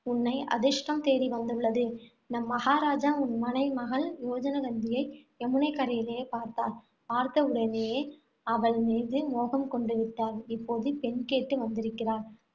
உன்னை அதிர்ஷ்டம் தேடி வந்துள்ளது. நம் மகாராஜா உன் மனை~ மகள் யோஜனகந்தியை யமுனைக்கரையிலே பார்த்தார். பார்த்தவுடனேயே அவள் மீது மோகம் கொண்டு விட்டார். இப்போது பெண் கேட்டு வந்திருக்கிறார்.